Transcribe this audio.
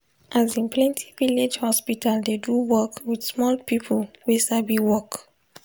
asin plenti village hospital dey do work with small people wey sabi work.